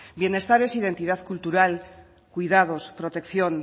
bienestar es identidad cultural cuidados protección